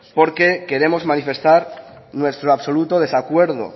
porque queremos manifestar nuestro absoluto desacuerdo